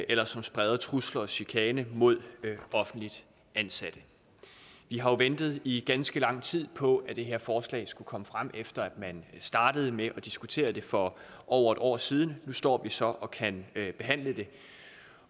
eller som spreder trusler og chikane mod offentligt ansatte vi har jo ventet i ganske lang tid på at det her forslag skulle komme frem efter at man startede med at diskutere det for over et år siden nu står vi så og kan behandle det